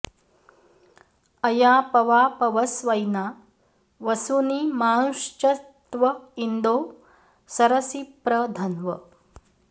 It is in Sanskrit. अया पवा पवस्वैना वसूनि माँश्चत्व इन्दो सरसि प्र धन्व